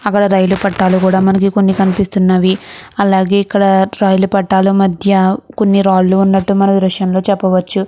అక్కడ రైలు పట్టాలు కూడా మనకి కొన్ని కనిపిస్తున్నవి. అలాగే ఇక్కడ రైలు పట్టాలు మధ్య కొన్ని రాళ్లు ఉన్నట్టు మనం ఈ దృశ్యం లో చెప్పవచు.